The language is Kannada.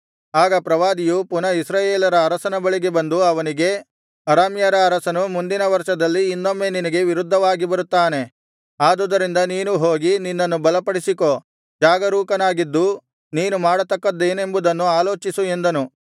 ಆಗ ಪ್ರವಾದಿಯು ಪುನಃ ಇಸ್ರಾಯೇಲರ ಅರಸನ ಬಳಿಗೆ ಬಂದು ಅವನಿಗೆ ಅರಾಮ್ಯರ ಅರಸನು ಮುಂದಿನ ವರ್ಷದಲ್ಲಿ ಇನ್ನೊಮ್ಮೆ ನಿನಗೆ ವಿರುದ್ಧವಾಗಿ ಬರುತ್ತಾನೆ ಆದುದರಿಂದ ನೀನು ಹೋಗಿ ನಿನ್ನನ್ನು ಬಲಪಡಿಸಿಕೋ ಜಾಗರೂಕನಾಗಿದ್ದು ನೀನು ಮಾಡತಕ್ಕದ್ದೇನೆಂಬುದನ್ನು ಆಲೋಚಿಸು ಎಂದನು